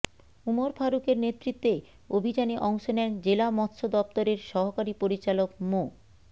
উমর ফারুকের নেতৃত্বে অভিযানে অংশ নেন জেলা মৎস্য দপ্তরের সহকারী পরিচালক মো